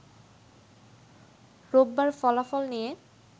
রোববার ফলাফল নিয়ে